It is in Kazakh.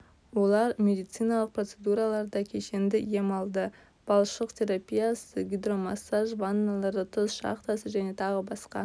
олар медициналық процедураларда кешенді ем алды балшық терапиясы гидромассаж ванналары тұз шахтасы және тағы басқа